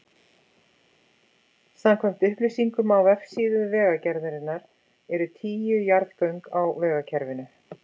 Samkvæmt upplýsingum á vefsíðu Vegagerðarinnar eru tíu jarðgöng á vegakerfinu.